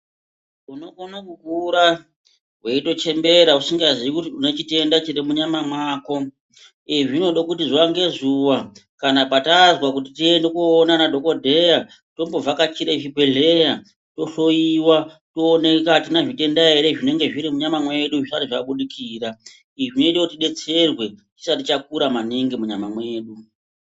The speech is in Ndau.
Uno kona kukura weito chembera usinga zii kuti une chitenda chiri mu nyama mako izvi zvinode kuti zuva nge zuva kana patazwa kuti tiende ko ona ana dhokodheya tombo vhakachire zvi bhedhleya to hloyiwa to oneka atina zvitenda ere zvinenge zviri mu nyama medu zvisati zva budikira izvi zvinoite kuti tidetserwe chisati chakura maningi mu nyama mwedu.